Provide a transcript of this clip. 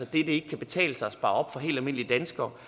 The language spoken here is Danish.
det ikke kan betale sig at spare op for helt almindelige danskere